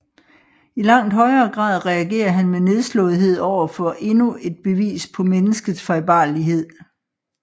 I langt højere grad reagerer han med nedslåethed over for endnu et bevis på menneskets fejlbarlighed